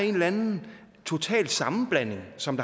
en eller anden total sammenblanding som